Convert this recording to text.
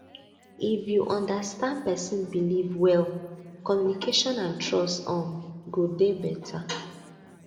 if you understand person belief well communication and trust um go dey better